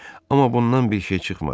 Amma bundan bir şey çıxmadı.